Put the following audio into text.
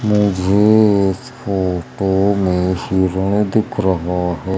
मुझे इस फोटो में हिरण दिख रहा है।